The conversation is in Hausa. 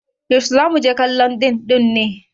yaushe za mu je kallon dim ɗin ne